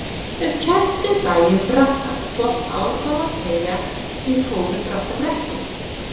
Ef kennt við bæinn Bratta hvort á þá að segja: ég fór um Brattabrekku.